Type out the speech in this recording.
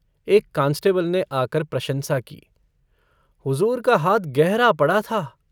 एक कांस्टेबल ने आकर प्रशंसा की - हुजूर का हाथ गहरा पड़ा था।